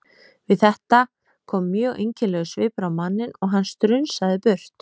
Við þetta kom mjög einkennilegur svipur á manninn og hann strunsaði burt.